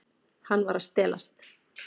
Hann var að stelast.